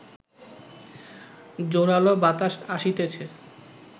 জোরালো বাতাস আসিতেছে